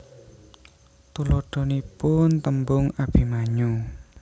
Tuladhanipun tembung Abimanyu